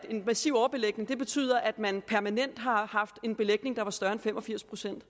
en massiv overbelægning betyder at man permanent har haft en belægning der er større end fem og firs procent